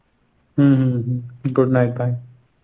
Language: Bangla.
হুম হুম হুম good night, bye.